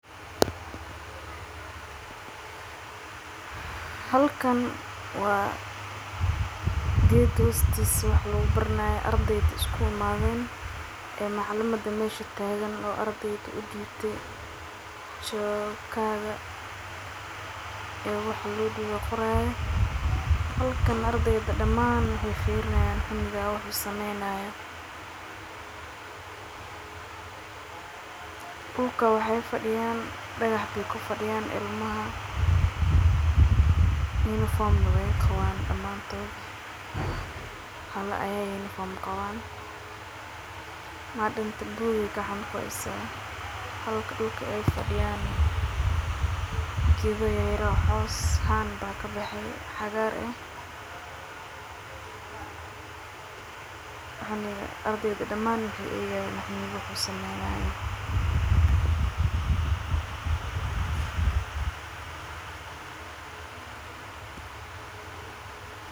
Halkan waa geed hoostisa wax lagu baranayo ardayda ay iskugu imadheen ee macalimaada meesha tagaan oo ardayda udibtay chalka kaga oo wax loo dibe qoraya. Halkan ardyda damaan waxay firinayan cunugaan wuxu sameynaya. Dulka waxay fidiyaan dagax bay kufadiyaan ilmaha uniform na way qawaan damantodha hala aya uniform qawaan madam ta book ay gacanta kuhays halkaa dulka ay faadiyan geedo yaryar oo caws aa kabaxe cagaar eeh waxan ardayda damaan wxayna kusmaynayan.